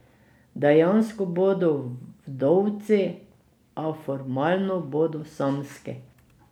Dejansko bodo vdovci, a formalno bodo samski.